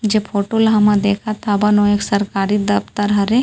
जे फोटो ला हमन देखत हावन ओ एक सरकारी दफ्तर हरे--